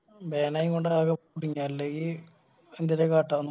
Ban ആയ കൊണ്ട കുടുങ്ങിയേ അല്ലെങ്കി എന്തേലു കാട്ടാന